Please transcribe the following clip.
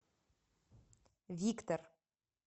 виктор